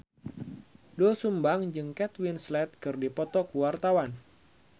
Doel Sumbang jeung Kate Winslet keur dipoto ku wartawan